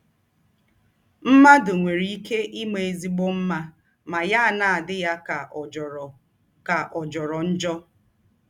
“ Mmadụ nwere ike ịma ezịgbọ mma ma ya ana - adị ya ka ọ̀ jọrọ ka ọ̀ jọrọ njọ.